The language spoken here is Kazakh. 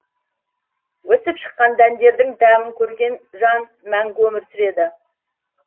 өсіп шыққан дәндердің дәмін көрген жан мәңгі өмір сүреді